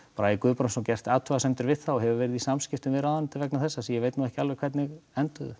Bragi Guðbrandsson gert athugasemdir við það og hefur verið í samskiptum við ráðuneytið vegna þessa sem ég veit ekki alveg hvernig enduðu